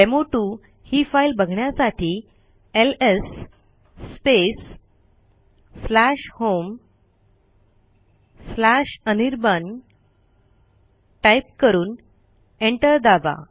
डेमो2 ही फाईल बघण्यासाठी LS space homeanirban type करून एंटर दाबा